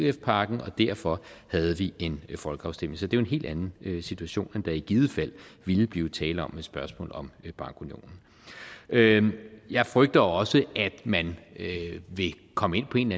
ef pakken og derfor havde vi en folkeafstemning så det er jo en helt anden situation end der i givet fald ville blive tale om ved et spørgsmål om bankunionen jeg frygter også at man vil komme ind på en